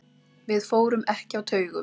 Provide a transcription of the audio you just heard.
Við fórum ekki á taugum.